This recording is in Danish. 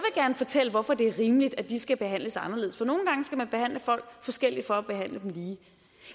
gerne fortælle hvorfor det er rimeligt at de skal behandles anderledes for nogle gange skal man behandle folk forskelligt for at behandle dem lige